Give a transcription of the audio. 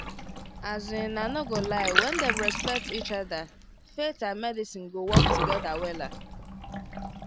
as in i no go lie when dem respect each other faith and medicine go work together wella